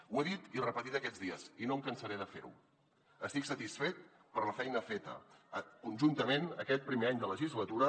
ho he dit i repetit aquests dies i no em cansaré de fer ho estic satisfet per la feina feta conjuntament aquest primer any de legislatura